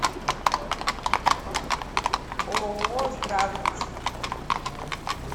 ооо здравница